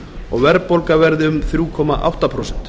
og verðbólga verði um þrjú komma átta prósent